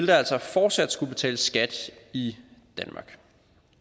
der altså fortsat skulle betales skat i danmark